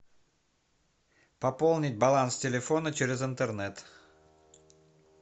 пополнить баланс телефона через интернет